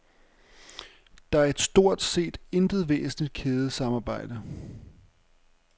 Der er stort set intet væsentligt kædesamarbejde.